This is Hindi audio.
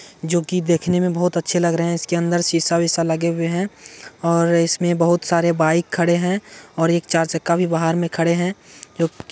जो की देखने में बहुत अच्छे लग रहे हैं इसके अंदर शीशा विशा लगे हुए हैं और इसमें बहुत सारे बाइक खड़े हैं और एक चार चक्का भी बाहर में खड़े हैं जो--